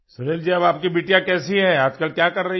सुनील जी अब आपकी बिटिया कैसी है आज कल क्या कर रही है